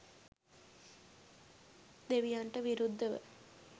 දෙවියන්ට විරුද්ධව.